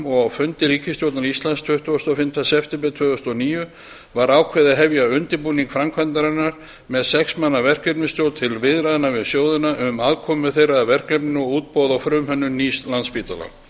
og á fundi ríkisstjórnar íslands tuttugasta og fimmta september tvö þúsund og níu var ákveðið að hefja undirbúning framkvæmdarinnar með sex manna verkefnisstjórn til viðræðna við sjóðina um aðkomu þeirra að verkefninu og útboð á frumhönnun nýs landspítala